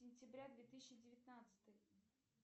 сентября две тысячи девятнадцатый